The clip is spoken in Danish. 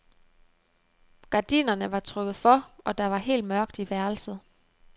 Gardinerne var trukket for, og der var helt mørkt i værelset.